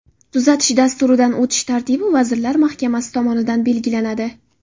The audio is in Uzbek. Tuzatish dasturidan o‘tish tartibi Vazirlar Mahkamasi tomonidan belgilanadi.